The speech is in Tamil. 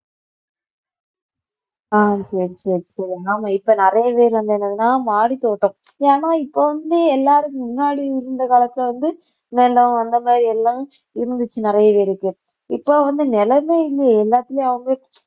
அஹ் சரி சரி சரிஆமா இப்ப நிறைய பேர் வந்து என்னன்னா மாடித்தோட்டம் ஏன்னா இப்ப வந்து எல்லாருக்கும் முன்னாடி இருந்த காலத்துல வந்து நிலம் அந்த மாதிரி எல்லாம் இருந்துச்சு நிறைய பேருக்கு இப்ப வந்து நிலமே இல்லையே எல்லாத்துலயும் அவங்க